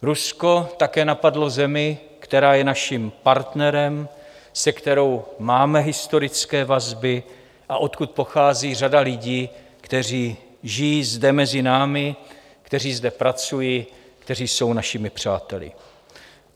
Rusko také napadlo zemi, která je našim partnerem, se kterou máme historické vazby a odkud pochází řada lidí, kteří žijí zde mezi námi, kteří zde pracují, kteří jsou našimi přáteli.